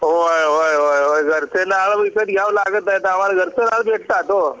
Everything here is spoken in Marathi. हो होय होय घरच्यांना विकत घ्याव लागत नहीं आम्हाला घरची फळ भेटता हो